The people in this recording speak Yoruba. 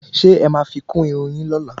ṣé ẹ ma fi kún Irun yin lóla?